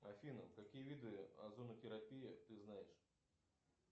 афина какие виды озонотерапии ты знаешь